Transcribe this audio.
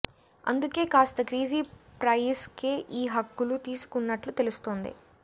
అందుకే కాస్త crazy price కే ఈ హక్కులు తీసుకున్నట్లు తెలుస్తోంది